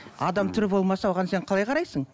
адам түрі болмаса оған сен қалай қарайсың